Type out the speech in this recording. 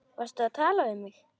Varstu að tala við mig?